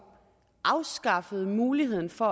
afskaffede muligheden for